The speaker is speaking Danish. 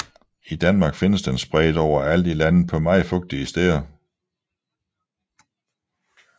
I Danmark findes den spredt overalt i landet på meget fugtige steder